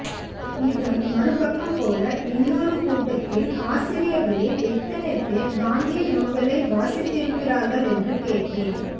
இதன் மறுபக்கம் போல இன்னொரு கூட்டத்தில் ஆசிரியர்களில் எத்தனை பேர் காந்திய நூல்களை வாசித்திருக்கிறார்கள் என்று கேட்டேன்